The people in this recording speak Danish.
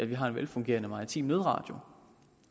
vi har en velfungerende maritim nødradio